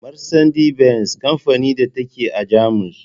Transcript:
Marsandi-Benz kamfanin da ta ke a Jamus.